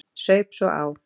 Saup svo á.